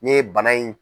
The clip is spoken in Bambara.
N'i ye bana in